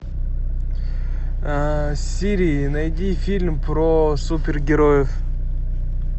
сири найди фильм про супергероев